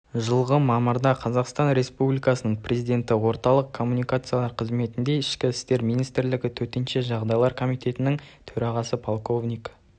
жылғы мамырда қазақстан республикасының президенті орталық коммуникациялар қызметінде ішкі істер министрлігі төтенше жағдайлар комитетінің төрағасы полковник